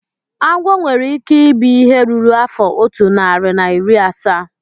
Agwo nwere ike ibi ihe ruru afọ otu narị na iri asaa